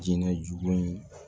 Jinɛ jugu in